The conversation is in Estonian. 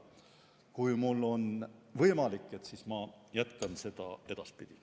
Kui mul on võimalik, siis jätkan seda teemat edaspidi.